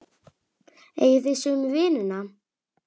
Eigið þið sömu vinina?